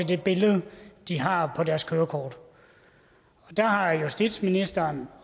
det billede de har på deres kørekort og der har justitsministeren